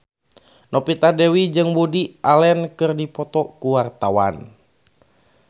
Novita Dewi jeung Woody Allen keur dipoto ku wartawan